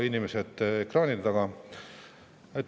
Inimesed ekraanide taga!